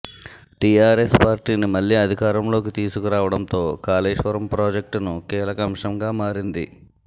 TRS పార్టీని మళ్లీ అధికారంలోకి తీసుకరావటంతో కాళేశ్వరం ప్రాజెక్టును కీలక అంశంగా మారింది